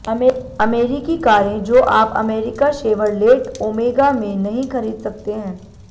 अमेरिकी कारें जो आप अमेरिका शेवरलेट ओमेगा में नहीं खरीद सकते हैं